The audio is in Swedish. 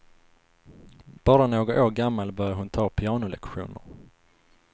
Bara några år gammal började hon ta pianolektioner.